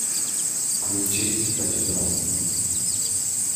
включи тачдаун